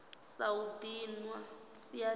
sa u dinwa siani la